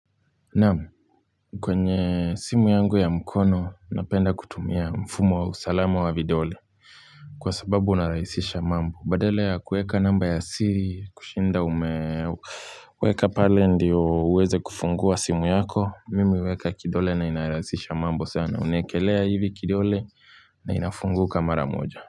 Naam, kwenye simu yangu ya mkono napenda kutumia mfumo wa usalama wa vidole Kwa sababu unarahisisha mambo badala ya kuweka namba ya siri kushinda umeweka pale ndiyo uweze kufungua simu yako Mimi huweka kidole na inarahisisha mambo sana unaekelea hivi kidole na inafunguka mara moja.